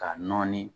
K'a nɔɔni